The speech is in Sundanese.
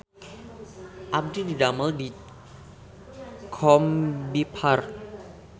Abdi didamel di Combiphar